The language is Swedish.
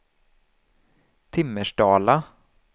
Timmersdala